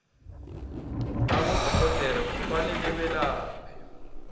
abodorhodera kufanele belaphe